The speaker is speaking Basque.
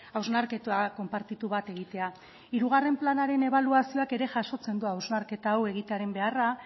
hausnarketa konpartitu bat egitea hirugarren planaren ebaluazioak ere jasotzen du hausnarketa hau egitearen beharra